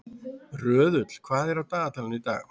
Röðull, hvað er á dagatalinu í dag?